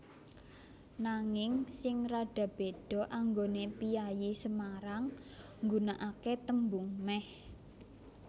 Nanging sing rada béda anggoné piyayi Semarang nggunakaké tembung mèh